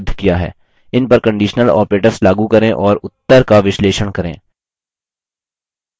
इन पर conditional operators लागू करें और उत्तर का विश्लेषण करें